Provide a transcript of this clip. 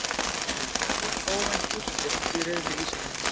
Önnur óvænt úrslit í riðli Íslands